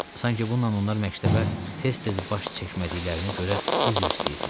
Sanki bununla onlar məktəbə tez-tez baş çəkmədiklərinə görə üzr istəyirdilər.